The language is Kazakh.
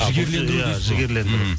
жігерлендіру десіз ғой иә жігерлендіру мхм